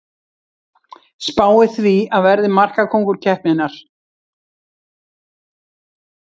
Spái því að verði markakóngur keppninnar!